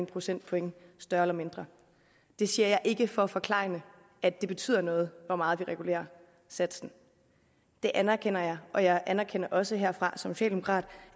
procentpoint større eller mindre det siger jeg ikke for at forklejne at det betyder noget hvor meget vi regulerer satsen det anerkender jeg og jeg anerkender også herfra socialdemokrat